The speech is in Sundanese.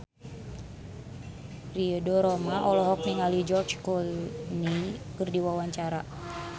Ridho Roma olohok ningali George Clooney keur diwawancara